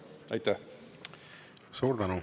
Aitäh!